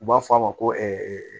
U b'a fɔ a ma ko